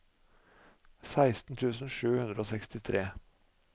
seksten tusen sju hundre og sekstitre